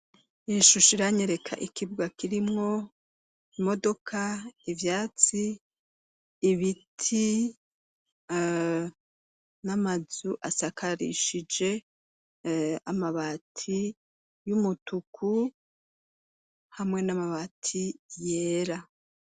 Ishusha iranyereka ikibwa kirimwo imodoka ivyatsi ibiti n'amazu asakarishije amabati y'umutuku hamwe n'amabati yera.